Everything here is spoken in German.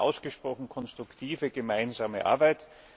Es war eine ausgesprochen konstruktive gemeinsame Arbeit.